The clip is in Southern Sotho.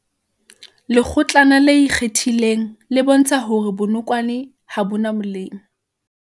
Lekgotlana le ikgethileng le bontsha hore bonokwane ha bo na molemo